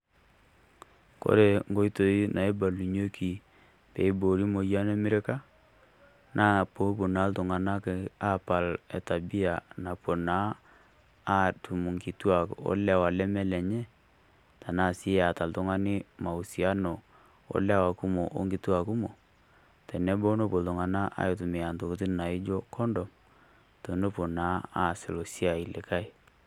Kore enkoitoi naibalunyieki peiboori emoyian emirika naa peepuo naa iltung'anak aapal etabiya naapuo naa iltung'anak aatum ilewa ashu enkituak neme lenye, tenaa sii eeta oltung'ani mauasiano olewa kumok ashu wonkituak kumok, teneponu iltung'anak aitumiya Intokitin naijio kondom tenepuao naa aas ilo siai likae.